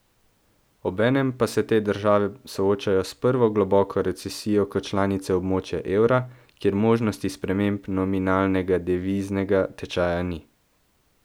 Obenem pa se te države soočajo s prvo globoko recesijo kot članice območja evra, kjer možnosti sprememb nominalnega deviznega tečaja ni.